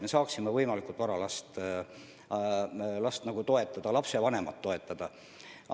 Saame võimalikult vara last ja lapsevanemat toetada, kui laps vajab teatud tuge.